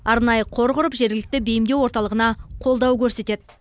арнайы қор құрып жергілікті бейімдеу орталығына қолдау көрсетеді